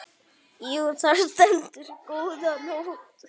Jú, þar stendur góða nótt.